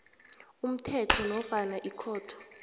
umthetho nofana ikhotho